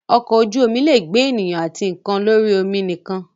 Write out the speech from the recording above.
Ọkọ̀ ojú-omi lè gbé àwọn ènìyàn àti nǹkan lórí omi nìkan.